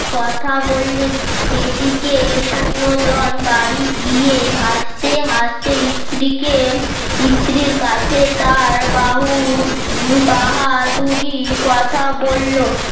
কথা বললেন এদিকে শূন্যদান বাড়ি গিয়ে হাসতে হাসতে স্ত্রীকে স্ত্রীর কাছে তার বাহু বাহাদুরি কথা বলল